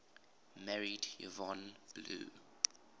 married yvonne blue